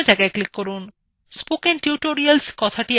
spoken tutorials কথাটি এখন পেজএ দেখা যাচ্ছে